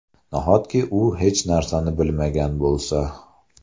Nahotki u hech narsani bilmagan bo‘lsa?